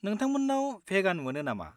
नोंथांमोन्नाव भेगान मोनो नामा?